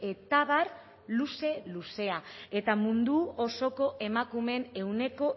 eta abar luze luzea eta mundu osoko emakumeen ehuneko